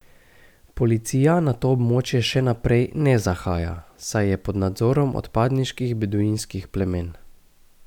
Policija na to območje še naprej ne zahaja, saj je pod nadzorom odpadniških beduinskih plemen.